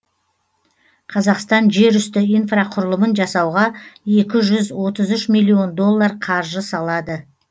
қазақстан жерүсті инфрақұрылымын жасауға екі жүз отыз үш миллион доллар қаржы салады